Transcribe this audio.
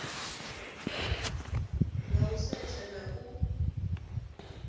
nga u setsha na u